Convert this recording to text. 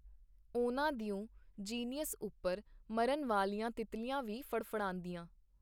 ਉਹਨਾਂ ਦਿਓ ਜੀਨੀਯਸ ਉੱਪਰ ਮਰਨ ਵਾਲੀਆਂ ਤਿੱਤਲੀਆਂ ਵੀ ਫੜਫੜਾਂਦੀਆਂ.